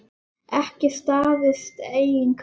Ekki staðist eigin kröfur.